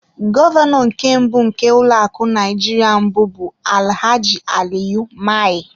Gọvanọ nke mbụ nke ụlọ akụ Naijiria mbụ bụ Alhaji Aliyu Mai.